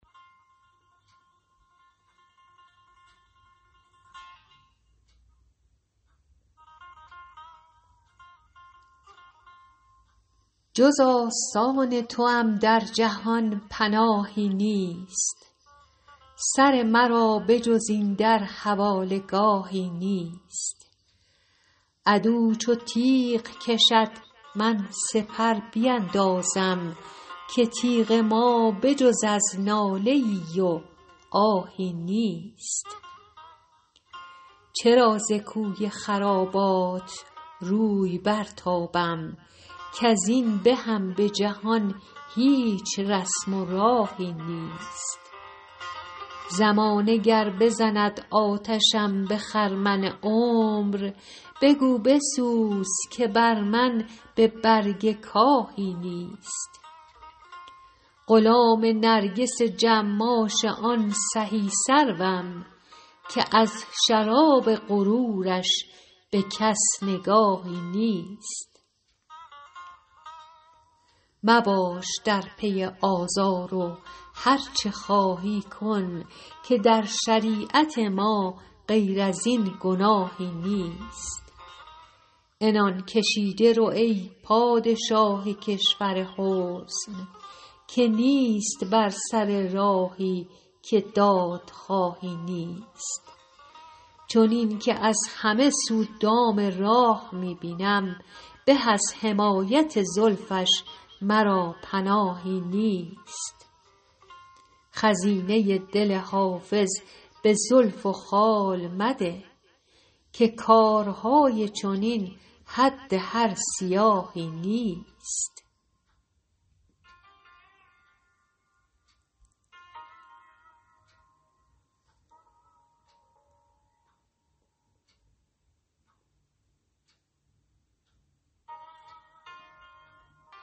جز آستان توام در جهان پناهی نیست سر مرا به جز این در حواله گاهی نیست عدو چو تیغ کشد من سپر بیندازم که تیغ ما به جز از ناله ای و آهی نیست چرا ز کوی خرابات روی برتابم کز این بهم به جهان هیچ رسم و راهی نیست زمانه گر بزند آتشم به خرمن عمر بگو بسوز که بر من به برگ کاهی نیست غلام نرگس جماش آن سهی سروم که از شراب غرورش به کس نگاهی نیست مباش در پی آزار و هرچه خواهی کن که در شریعت ما غیر از این گناهی نیست عنان کشیده رو ای پادشاه کشور حسن که نیست بر سر راهی که دادخواهی نیست چنین که از همه سو دام راه می بینم به از حمایت زلفش مرا پناهی نیست خزینه دل حافظ به زلف و خال مده که کارهای چنین حد هر سیاهی نیست